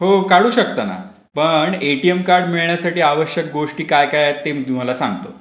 हो काढू शकता ना. पण एटीएम कार्ड मिळण्यासाठी. आवश्यक गोष्टी काय काय आहेत ते मी तुम्हाला सांगतो.